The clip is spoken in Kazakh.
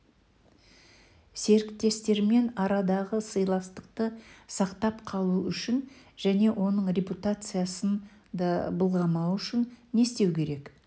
серіктестермен арадағы сыйластықты сақтап қалу үшін және оның репутациясын да былғамау үшін не істеу керек